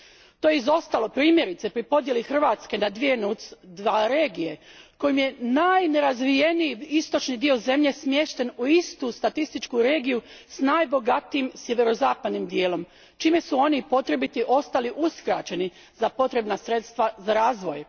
To je izostalo primjerice pri podjeli Hrvatske na dvije NUTS II regije kojom je najnerazvijeniji istočni dio zemlje smješten u istu statističku regiju s najbogatijim sjeverozapadnim dijelom, čime su oni potrebiti ostali uskraćeni za potrebna sredstva za razvoj.